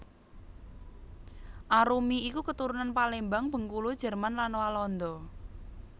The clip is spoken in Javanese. Arumi iku keturunan Palembang Bengkulu Jerman lan Walanda